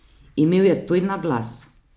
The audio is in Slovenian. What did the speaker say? Imel je tuj naglas.